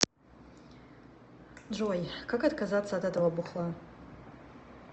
джой как отказаться от этого бухла